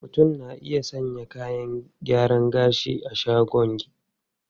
Mutum na iya sayan kayan gyaran gashi a shagon.